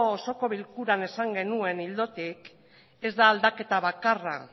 osoko bilkuran esan genuen ildotik ez da aldaketa bakarra